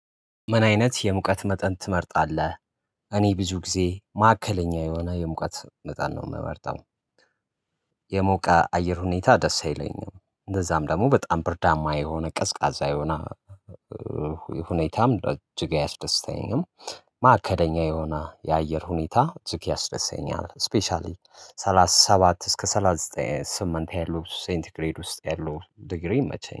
ምን አይነት የሙቀት መጠን ትመርጣለህ? እኔ ብዙ ጊዜ ማዕከለኛ የሆነ የሙቀት መጠን ነው የምመርጠው። የሞቀ አየር ሁኔታ ደስ አይለኝም እንደዛም ደግሞ በጣም ብርዳማ የሆነ ቀዝቃዛ የሆነ። ሁኔታም ረ እጅግ ያስደስተኛም። ማዕከለኛ የሆነ የአየር ሁኔታ እጅግ ያስደሰኛል ስፔሻሊ ሰላሳ ሰባት እስከ ሰላሳ ዘጠኝ ስምንት ያሉ ሴንቲ ግሬድ ውስጥ ያሉ ዲግሪ ይመቼኛል